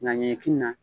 Na ɲɛkili na